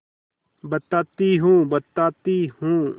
बताती हूँ बताती हूँ